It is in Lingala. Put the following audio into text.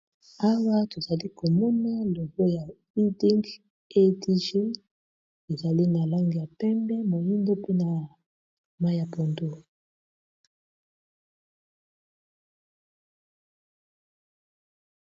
Awa tozali komona logo ya leading adge ezali na langi ya pembe, moyindo, mpe na mayi ya pondu.